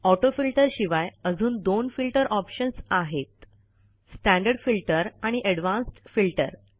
auto filter शिवाय अजून दोन फिल्टर ऑप्शन्स आहेत स्टँडर्ड फिल्टर आणि एडवान्स्ड फिल्टर